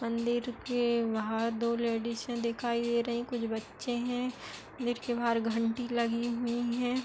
मंदिर के बाहर दो लेडिसे दिखाई दे रही कुछ बच्चे हैं गेट के बाहर घंटी लगी हुई है।